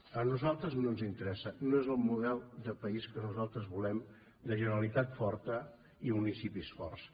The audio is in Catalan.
a nosaltres no ens interessa no és el model de país que nosaltres volem de generalitat forta i municipis forts